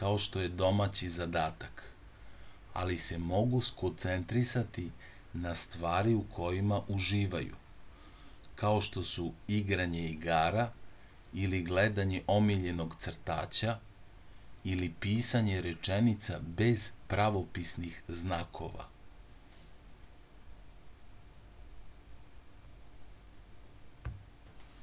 kao što je domaći zadatak ali se mogu skoncentrisati na stvari u kojima uživaju kao što su igranje igara ili gledanje omiljenog crtaća ili pisanje rečenica bez pravopisnih znakova